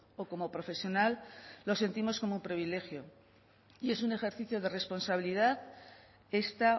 o como profesional lo sentimos como privilegio y es un ejercicio de responsabilidad esta